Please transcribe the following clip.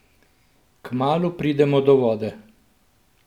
Kmalu pridemo do vode.